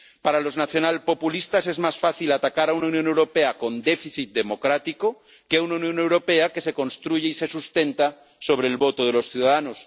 Para los nacionalpopulistas, es más fácil atacar a una Unión Europea con déficit democrático que a una Unión Europea que se construye y se sustenta sobre el voto de los ciudadanos.